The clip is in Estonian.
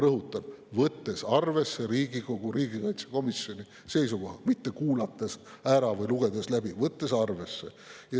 Rõhutan: "võttes arvesse Riigikogu riigikaitsekomisjoni seisukoha," seega mitte "kuulates ära" või "lugedes läbi", vaid "võttes arvesse".